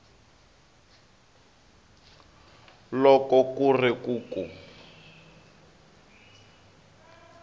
loko ku ri ku ku